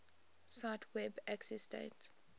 cite web accessdate